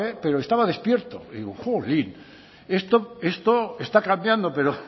pero estaba despierto digo jolín esto está cambiando pero